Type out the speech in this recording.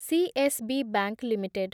CSB bank limited